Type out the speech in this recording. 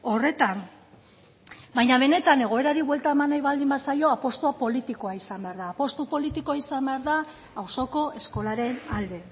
horretan baina benetan egoerari buelta eman nahi baldin bazaio apustua politikoa izan behar da apustu politikoa izan behar da auzoko eskolaren alde